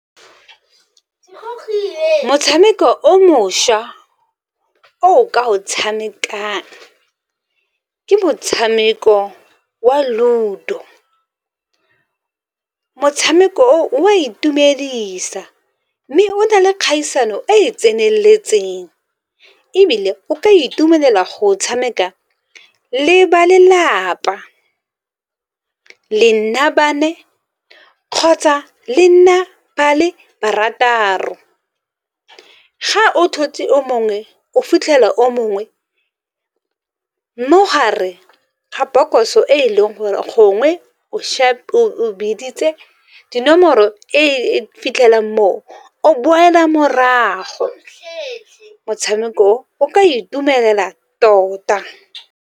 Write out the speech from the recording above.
Motshameko o mošwa o o ka o tshamekang ke motshameko wa Ludo. Motshameko o o a itumedisa, mme o na le kgaisano e e tseneletseng ebile o ka itumelela go tshameka le ba lelapa, kgotsa le nna ba le barataro, ga o fitlhela o mongwe mo gare ga bokoso e e leng gore gongwe o biditse dinomoro e fitlhelang moo, o boela morago motshameko o o ka itumela tota.